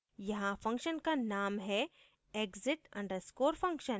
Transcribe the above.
यहाँ function का name है exit _ undescore function